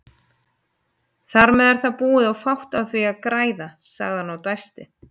Þarmeð er það búið og fátt á því að græða, sagði hann og dæsti.